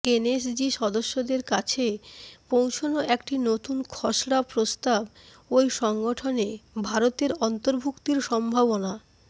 NSG সদস্যদের কাছে পৌঁছনো একটি নতুন খসড়া প্রস্তাব ওই সংগঠনে ভারতের অন্তর্ভুক্তির সম্ভাবনা